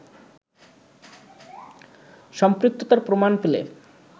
সম্পৃক্ততার প্রমাণ পেলে